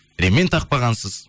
ремень тақпағансыз